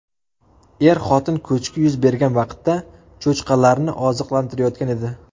Er-xotin ko‘chki yuz bergan vaqtda cho‘chqalarni oziqlantirayotgan edi.